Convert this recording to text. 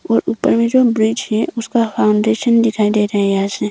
और ऊपर में जो ब्रिज है उसका फाउंडेशन दिखाई दे रहा है यहां से।